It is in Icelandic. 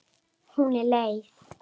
Hún er leið.